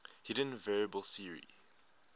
hidden variable theory